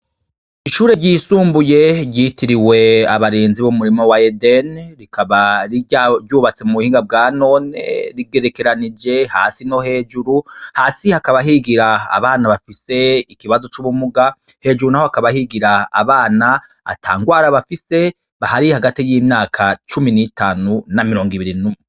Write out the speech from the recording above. Ishure ryisumbuye ryitiriwe abarinzi b'umurima wa edeni, rikaba ryubatse mu buhinga bwanone rigerekeranije hasi no hejuru, hasi hakaba higira abana bafise ikibazo c'ubumuga, hejuru, naho hakaba higira abana atangwara bafise, bari hagati y'imyaka cumi n'itanu na mirongo ibiri n'umwe.